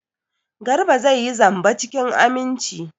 Garba zai yi zamba cikin aminci.